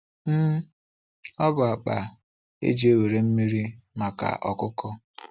um Ọ bụ akpa e ji ewere mmiri maka ọkụkọ.